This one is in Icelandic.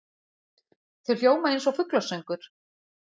Þau hljóma einsog fuglasöngur.